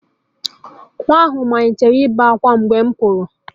Nwa ahụ malitere ibe ákwá mgbe m pụrụ